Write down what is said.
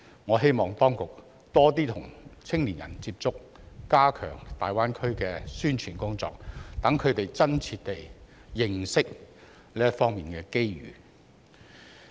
我希望當局多點跟年輕人接觸，加強大灣區的宣傳工作，讓他們真切認識這方面的機遇。